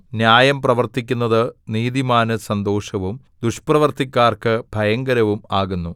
ന്യായം പ്രവർത്തിക്കുന്നത് നീതിമാന് സന്തോഷവും ദുഷ്പ്രവൃത്തിക്കാർക്ക് ഭയങ്കരവും ആകുന്നു